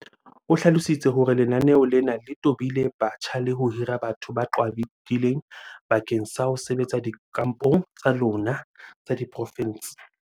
o hlalositse hore lenaneo lena le tobile batjha le ho hira batho ba qhwadileng bakeng sa ho sebetsa dikampong tsa lona tsa diporofense.